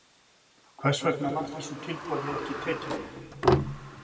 Hvers vegna var þessu tilboði ekki tekið?